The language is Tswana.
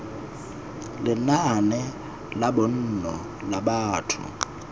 lenaane la bonno la batho